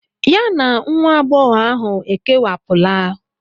Ya na nwa agbọghọ ahụ ekewapụla.